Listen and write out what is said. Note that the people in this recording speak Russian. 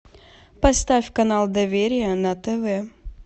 поставь канал доверие на тв